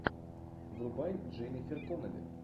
врубай дженнифер коннелли